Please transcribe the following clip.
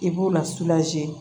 I b'u la